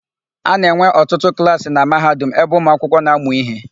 A na-enwe ọtụtụ klaasị na Mahadum ebe ụmụakwụkwọ na-amụ íhé.